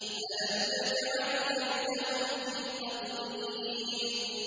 أَلَمْ يَجْعَلْ كَيْدَهُمْ فِي تَضْلِيلٍ